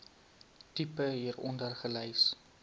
tipe hieronder gelys